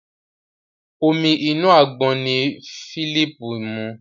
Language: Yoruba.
Omi inú àgbọn ní Philip mu.